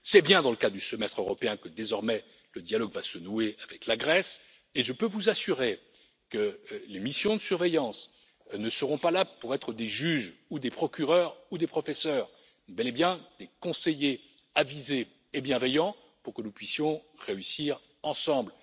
C'est bien dans le cadre du Semestre européen que, désormais, le dialogue va se nouer avec la Grèce et je peux vous assurer que les missions de surveillance ne seront pas là pour être des juges, des procureurs ou des professeurs, mais bel et bien des conseillers avisés et bienveillants pour que nous puissions réussir ensemble.